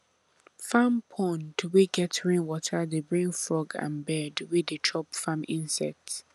farm pond wey get rainwater dey bring frog and bird wey dey chop farm insects